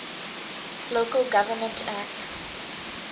local government act